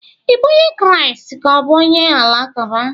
Ị bụ onye Kraịst ka ọ bụ onye Alakụba?